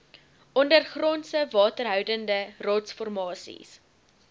ondergrondse waterhoudende rotsformasies